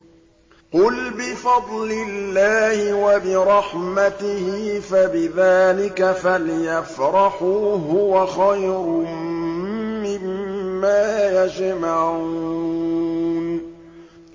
قُلْ بِفَضْلِ اللَّهِ وَبِرَحْمَتِهِ فَبِذَٰلِكَ فَلْيَفْرَحُوا هُوَ خَيْرٌ مِّمَّا يَجْمَعُونَ